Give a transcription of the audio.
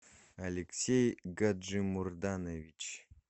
алексей гаджимурданович